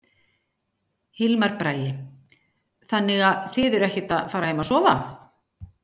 Hilmar Bragi: Þannig að þið eruð ekkert að fara heim að sofa?